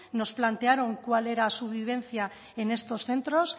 nos plantearon cuál era su vivencia en estos centros